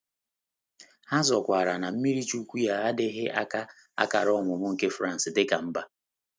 Ha zọkwaara na mmiriichuwku ya adịghị aka akara ọmụmụ nke France dị ka mba.